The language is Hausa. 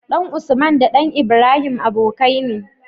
ɗan usman da ɗan ibrahim abokai ne